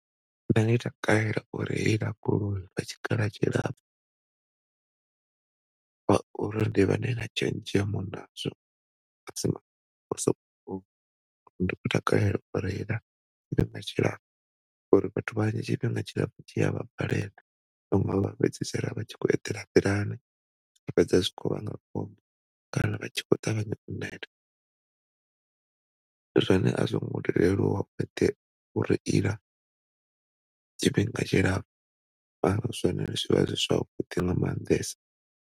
Nṋe ndi takalela u reila goloi lwa tshikhala tshilapfu ngauri ndi vha ndi na tshenzhemo na zwo ndi khou takalela u reila tshifhinga tshilapfu ngauri vhathu vhanzhi tshifhinga tshilpfu tshi a vha balela vhaṋwe vha fhedzisela vha tshi khou e ḓela nḓilani zwa fhedza zwi tshi kho vhanga khombo kana vha tshi khou ṱangana na nyimele zwone a zwo ngo to leluwa u reila tshifhinga tshilapfu zwone zwi vha zwavhudi nga maanḓesa.